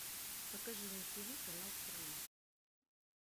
покажи на тиви канал страна